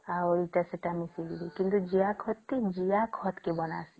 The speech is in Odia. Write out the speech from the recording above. ଆଉ ଜେସା ତ ମିସିକିରି କିନ୍ତୁ ଜିଆ ଖତ ଟି ଜିଆ ଖତ କେ ବନସେ